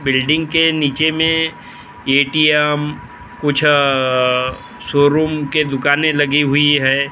building के नीचे मे ए_टी_एम कुछ अ शोरूम के दुकानें लगी हुई है औ --